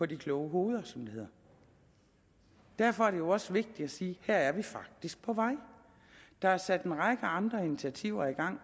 de kloge hoveder som det hedder derfor er det jo også vigtigt at sige at her er vi faktisk på vej der er sat en række andre initiativer i gang